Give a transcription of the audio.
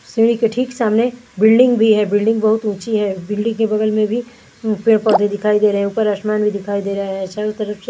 सीढ़ी के ठीक सामने बिल्डिंग भी है बिल्डिंग बहुत ऊंची है बिल्डिंग के बगल में भी पेड पौध दिखाई दे रहे है ऊपर आस्मांन भी दिखाई दे रहे है चारो तरफ से भी --